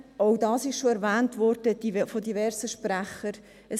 Auch dies wurde von diversen Sprechern erwähnt: